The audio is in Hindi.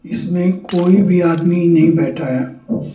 इसमें कोई भी आदमी नहीं बैठा है।